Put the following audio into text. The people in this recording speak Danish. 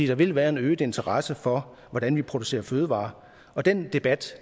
der vil være en øget interesse for hvordan vi producerer fødevarer den debat